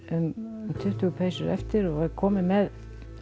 um tuttugu peysur eftir og er komin með